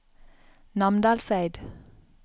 Namdalseid